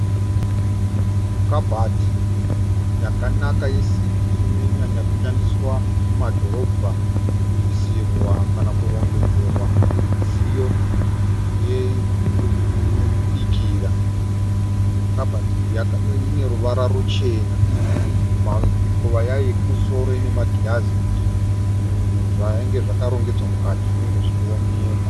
Kabati yakanaka yesimbi inonyanyoshandiswa mumadhorobha kuisirwa kana kurongedzerwa midziyo yekubikira. Kabati iyi ine ruvara ruchena. Pamikova yayo yekumusoro ine magirazi kuti zvinhu zvinenge zvakarongedzerwa mukati zvinenge zvichioneka.